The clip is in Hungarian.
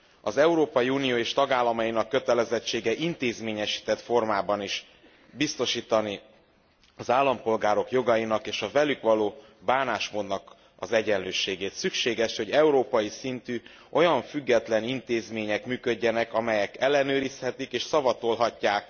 Az Európai Unió és tagállamainak kötelezettsége intézményesített formában is biztosítani az állampolgárok jogainak és a velük való bánásmódnak az egyenlőségét. Szükséges, hogy európai szintű, olyan független intézmények működjenek, amelyek ellenőrizhetik és szavatolhatják